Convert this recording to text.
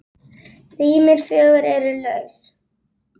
Rýmin fjögur eru laus.